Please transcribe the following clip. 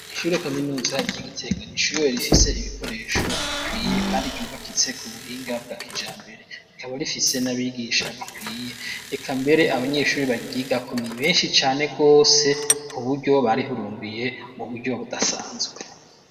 Ishuri kaminuza ry'igitega n'ishure rifise ibikoresho bikwiye kandi ryubakitse k'ubuhinga bwakijambere rikaba rifise n'abigisha bakwiye reka mbere abanyeshuri baryigako ni benshi cane gose k'uburyo barihurumbiye m'uburyo budasanzwe.